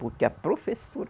Porque a professora